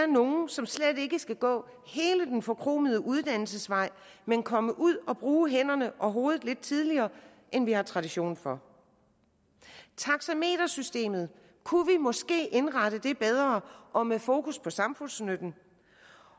nogle som slet ikke skal gå hele den forkromede uddannelsesvej men komme ud og bruge hænderne og hovedet lidt tidligere end vi har tradition for taxametersystemet kunne vi måske indrette bedre og med fokus på samfundsnytten